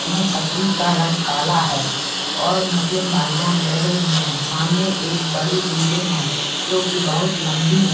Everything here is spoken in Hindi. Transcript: इन छतरी का रंग काला है और मुस्लिम भाईजान बैठे हुए हैं सामने एक बड़ी बिल्डिंग है जो की बहुत लंबी है।